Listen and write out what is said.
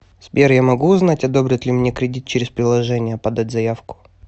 сбер я могу узнать одобрят ли мне кредит через приложение подать заявку